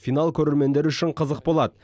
финал көрермендер үшін қызық болады